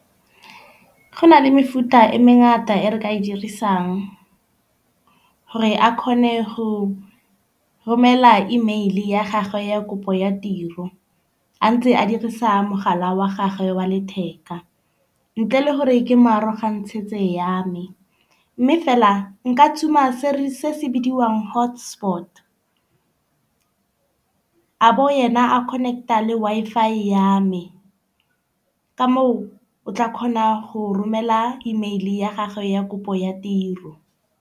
Go na le mefuta e mengata e re ka e dirisang gore a kgone go romela email ya gagwe ya kopo ya tiro a ntse a dirisa mogala wa gagwe wa letheka, ntle le gore ke mo arogantshetse ya me. Mme fela nka tshuma se re se se bidiwang hotspot. A bo ena a connect a le Wi-Fi ya me. Ka moo o tla kgona go romela email ya gagwe ya kopo ya tiro.